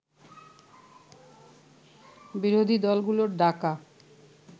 বিরোধী দলগুলোর ডাকা